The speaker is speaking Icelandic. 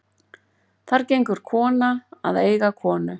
Þar gengur kona að eiga konu.